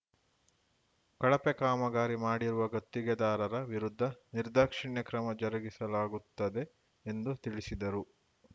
ಕಳಪೆ ಕಾಮಗಾರಿ ಮಾಡಿರುವ ಗುತ್ತಿಗೆದಾರರ ವಿರುದ್ಧ ನಿರ್ದಾಕ್ಷಿಣ್ಯ ಕ್ರಮ ಜರುಗಿಸಲಾಗುತ್ತದೆ ಎಂದು ತಿಳಿಸಿದರು